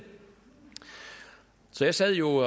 så jeg sad jo